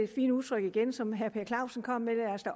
fine udtryk igen som herre per clausen kom med